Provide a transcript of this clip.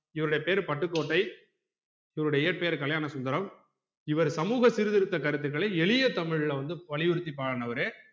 இவருடைய பேர் பட்டுக்கோட்டை இவர் இயற்ப்பெயர் கல்யாணசுந்தரம் இவர் சமூக சீர்திருத்த கருத்துகளை எளிய தமிழ்ல வந்து வலியுறுத்தி பாடுனவரு